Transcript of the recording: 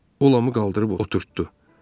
O Lamı qaldırıb oturtdurdu.